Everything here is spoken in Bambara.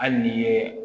Hali n'i ye